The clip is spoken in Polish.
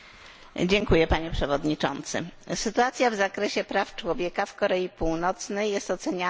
Sytuacja w zakresie praw człowieka w Korei Północnej jest oceniana jako jedna z najgorszych na świecie.